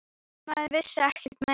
Maður vissi ekkert meira.